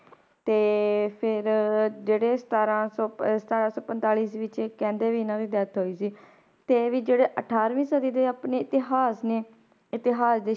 ਤੇ ਫਿਰ ਜਿਹੜੇ ਸਤਾਰਾਂ ਸੌ ਪ~ ਸਤਾਰਾਂ ਸੌ ਪੰਤਾਲੀ ਈਸਵੀ 'ਚ ਕਹਿੰਦੇ ਵੀ ਇਹਨਾਂ ਦੀ death ਹੋਈ ਸੀ, ਤੇ ਵੀ ਜਿਹੜੇ ਅਠਾਰਵੀਂ ਸਦੀ ਦੇ ਆਪਣੇ ਇਤਿਹਾਸ ਨੇ ਇਤਿਹਾਸ ਦੇ